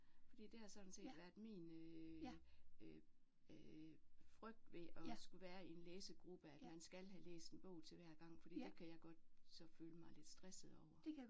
Fordi det har sådan set været min øh frygt ved at skulle være i en læsegruppe at man skal have læst en bog til hver gang fordi det kan jeg godt så føle mig lidt stresset over